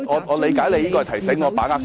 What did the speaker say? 我理解你是在提醒我把握時間。